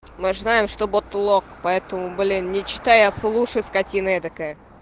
мы же знаем что бот лох поэтому блин не читай а слушай скотина этакая